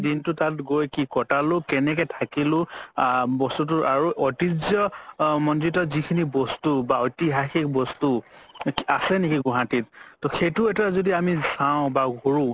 দিনতো তাত গৈ কি কতালো কেনেকে থাকিলো আ বস্তুতোৰ আৰু ঐতিহ্য আ যিখিনি বস্তু বা ঐতিহাসিক বস্তু আছে নেকি গুৱাহাতিত তৌ সেইটো এটা যদি আমি চাও বা কৰো